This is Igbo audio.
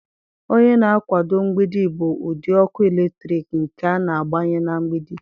Onye na-akwado mgbidi bụ ụdị ọkụ eletrik nke a na-agbanye na mgbidi.